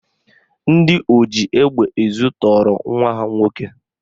Ndị oji egbe ezu tọọrọ nwa ha nwoke